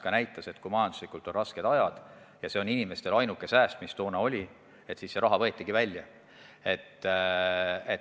Me nägime, et kui majanduslikult on rasked ajad ja see on inimestel ainuke sääst, nagu toona oli, siis see raha võetakse välja.